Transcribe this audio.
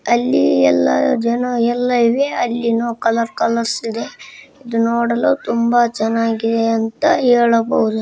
ಅಲ್ಲಿ ಯಲ್ಲಾ ಜನಾ ಇವೆ. ಅಲ್ಲಿನೂ ಕಲರ್ ಕಲರ್ಸ್ ಇದೆ. ಈದ್ ನೋಡಲು ತುಂಬಾ ಚನ್ನಾಗಿದೆ ಅಂತಾ ಹೇಳಬಹುದು.